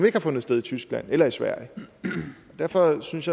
ikke har fundet sted i tyskland eller i sverige derfor synes